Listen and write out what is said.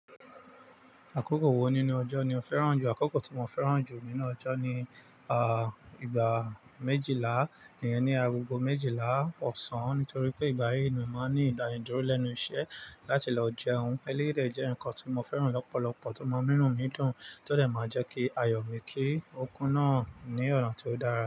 Àkókò wọ̀ nínú ọjọ́ ni o fẹ́ràn jù? Àkókò tí mo fẹ́ràn jù nínú ọjọ́ ni, ìgbà méjìlá, iyén ní àgọ́gọ́ méjìlá ọ̀sán. Ǹítorí pé ìgbà yí ni mo máa ń ní ìdánidúró lẹ́nu isẹ́, láti lọ jéun. Elééyi dé jẹ́ nǹkan tí mo fẹ́ràn lọ́pọ̀lọpọ̀, tó máa ń mú inumìídùn, tó dẹ́ máa jẹ́ kí ayọ̀ mi kí okún náà ní ọ̀ràn tó dára.